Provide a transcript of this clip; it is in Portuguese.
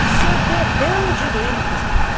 O seu dedão direito.